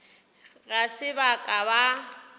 ga se ba ka ba